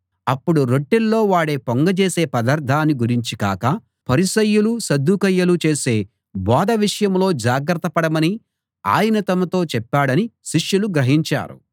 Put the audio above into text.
అప్పుడు రొట్టెల్లో వాడే పొంగజేసే పదార్థాన్ని గురించి కాక పరిసయ్యులు సద్దూకయ్యులు చేసే బోధ విషయంలో జాగ్రత్తపడమని ఆయన తమతో చెప్పాడని శిష్యులు గ్రహించారు